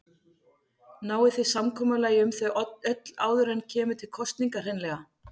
Náið þið samkomulagi um þau öll áður en kemur til kosninga hreinlega?